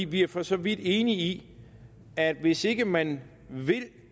vi er for så vidt enige i at hvis ikke man vil